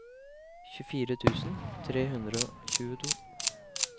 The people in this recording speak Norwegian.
tjuefire tusen tre hundre og tjueto